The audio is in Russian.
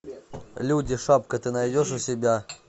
люди шапка ты найдешь у себя